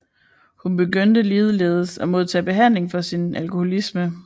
Hun begyndte ligeledes at modtage behandling for sin alkoholisme